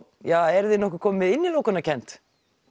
eruð þið nokkuð komin með innilokunarkennd